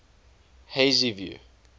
hazyview